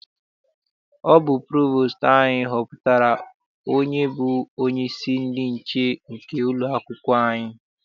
Ọ bụ provostu anyị họpụtara onye bụ onyeisi ndị nche nke ụlọakwụkwọ anyị.